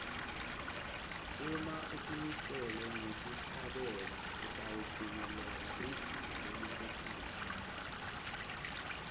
uma utimisele ngekuhlabela utawufinyelela lizinga lelisetulu